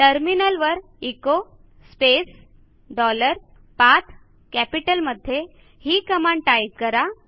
टर्मिनलवर echo space dollar पाठ कॅपिटलमध्ये ही कमांड टाईप करा